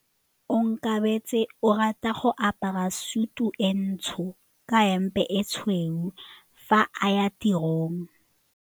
Onkabetse o rata go apara sutu e ntsho ka hempe e tshweu fa a ya tirong.